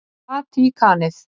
Vatíkanið